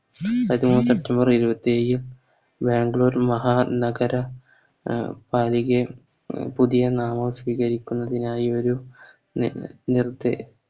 അതിനെപ്പറ്റി ബാംഗ്ലൂർ മഹാ നഗര അഹ് പാലികയും പുതിയ നാമം സ്വീകരിക്കുന്നതിനായി ഒരു നിർദ്ദേ